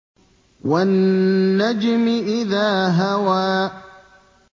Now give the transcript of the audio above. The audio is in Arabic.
وَالنَّجْمِ إِذَا هَوَىٰ